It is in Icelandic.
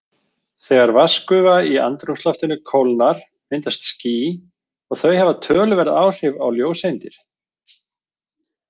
Þegar vatnsgufa í andrúmsloftinu kólnar myndast ský og þau hafa töluverð áhrif á ljóseindir.